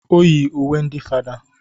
O yi uwe ndị fada